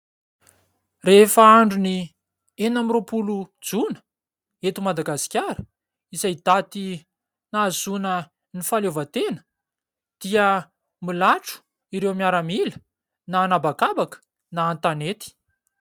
Rehefa andron'ny enina amby roapolo Jona, eto Madagasikara, izay daty nahazoana ny fahaleovantena dia milatro ireo miaramila na an'abakabaka na an-tanety.